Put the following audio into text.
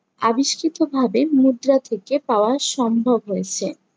আবিষ্কৃত ভাবে মুদ্রা থেকে পাওয়া সম্ভব হয়েছে।